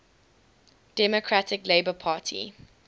democratic labour party